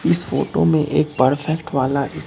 इस फोटो में एक परफेक्ट वाला इस--